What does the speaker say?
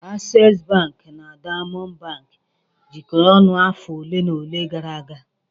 Access bank na Diamond bank jikọrọ ọnụ afọ ole na ole gara aga.